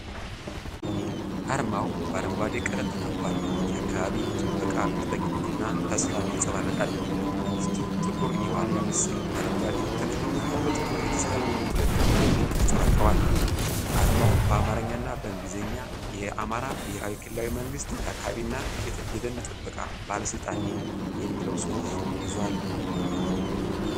አርማው በአረንጓዴ ቀለም ተከቧል፣ የአካባቢ ጥበቃ ቁርጠኝነትንና ተስፋን ያንጸባርቃል። ውስጡ ጥቁር የዋልያ ምስል፣ አረንጓዴ ተክልና በጥቁር የተሳሉ ሁለት እጆች ተንጸባርቀዋል። አርማው በአማርኛ እና በእንግሊዝኛ “የአማራ ብሔራዊ ክልላዊ መንግሥት የአካባቢና የደን ጥበቃ ባለስልጣን” የሚለውን ጽሑፍ ይዟል።